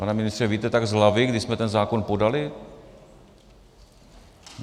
Pane ministře, víte tak z hlavy, kdy jsme ten zákon podali?